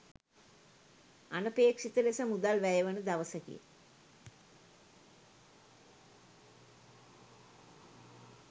අනපේක්ෂිත ලෙස මුදල් වැය වන දවසකි.